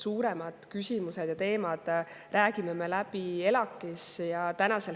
Suuremad küsimused ja teemad räägime me läbi ELAK‑is.